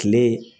Kile